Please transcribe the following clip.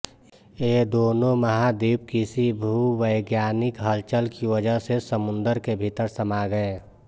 ये दोनों महाद्वीप किसी भूवैज्ञानिक हलचल की वजह से समुद्र के भीतर समा गए